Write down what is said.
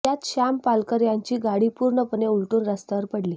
यात श्याम पालकर यांची गाडी पूर्णपणे उलटून रस्त्यावर पडली